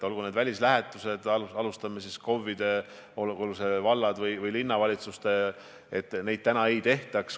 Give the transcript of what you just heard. Alustame kas või sellest, et KOV-id, olgu need valla- või linnavalitsused, välislähetusi ei teeks.